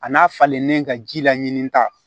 A n'a falennen ka ji la ɲinita